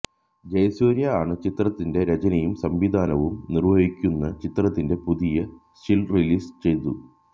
ജയസൂര്യ ആണ് ചിത്രത്തിന്റെ രചനയും സംവിധാനവും നിര്വഹിക്കുന്ന ചിത്രത്തിന്റെ പുതിയ സ്റ്റില് റിലീസ് ചെയ്തു